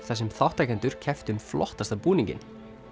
þar sem þátttakendur kepptu um flottasta búninginn